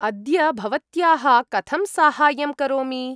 अद्य भवत्याः कथं साहाय्यं करोमि?